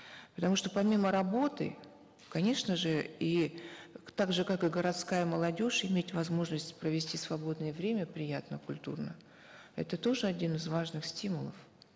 потому что помимо работы конечно же и так же как и городская молодежь иметь возможность провести свободное время приятно культурно это тоже один из важных стимулов